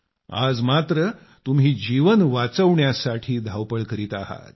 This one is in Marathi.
आज मात्र तुम्ही जीवन वाचवण्यासाठी धावपळ करीत आहात